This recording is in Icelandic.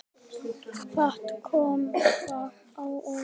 Fátt kom þar á óvart.